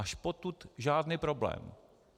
Až potud žádný problém.